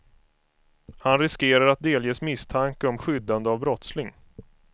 Han riskerar att delges misstanke om skyddande av brottsling.